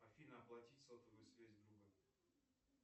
афина оплатить сотовую связь другу